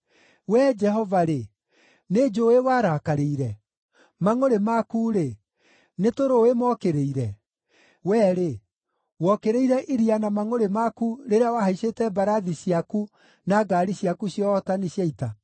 Wee Jehova-rĩ, nĩ njũũĩ warakarĩire? Mangʼũrĩ maku-rĩ, nĩ tũrũũĩ mokĩrĩire? Wee-rĩ, wokĩrĩire iria na mangʼũrĩ maku rĩrĩa wahaicĩte mbarathi ciaku na ngaari ciaku cia ũhootani cia ita?